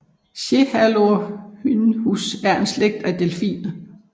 Cephalorhynchus er en slægt af delfiner